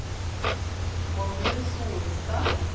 Magnus Solstad